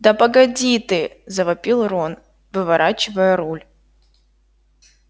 да погоди ты завопил рон выворачивая руль